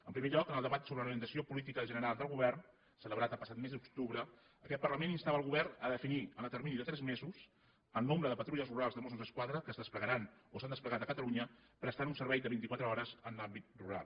en primer lloc en el debat sobre l’orientació política general del govern celebrat el passat mes d’octubre aquest parlament instava el govern a definir en el termini de tres mesos el nombre de patrulles rurals de mossos d’esquadra que es desplegaran o s’han desplegat a catalunya prestant un servei de vint i quatre hores en l’àmbit rural